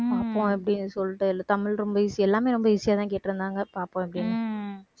பாப்போம் அப்பிடின்னு சொல்லிட்டு தமிழ் ரொம்ப easy எல்லாமே ரொம்ப easy ஆதான் கேட்டிருந்தாங்க பார்ப்போம் எப்படி